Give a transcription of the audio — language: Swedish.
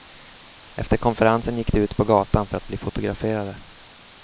Efter konferensen gick de ut på gatan för att bli fotograferade.